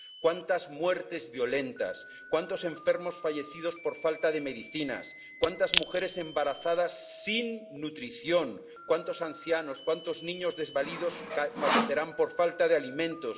¿Cuántas muertes violentas, cuántos enfermos fallecidos por falta de medicinas, cuántas mujeres embarazadas sin nutrición, cuántos ancianos, cuántos niños desvalidos fallecerán por falta de alimentos?